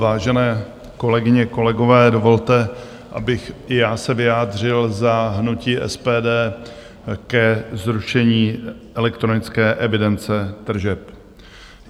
Vážené kolegyně, kolegové, dovolte, abych i já se vyjádřil za hnutí SPD ke zrušení elektronické evidence tržeb.